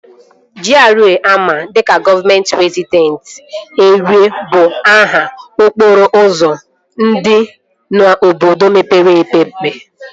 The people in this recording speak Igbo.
GRA ama dịka gọvamet rezidenshal erịa bụ aha okporo ụzọ dị n'obodo mepere emepe